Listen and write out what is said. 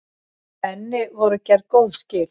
Henni voru gerð góð skil.